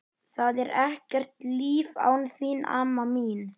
Það er ekkert líf án þín, mamma mín.